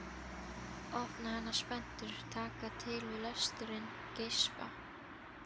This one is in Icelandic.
Opna hana spenntur, taka til við lesturinn, geispa.